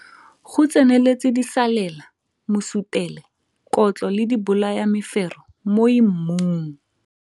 Go tseneletse disalela, mosutele, kotlo le dibolayamefero moi mmung.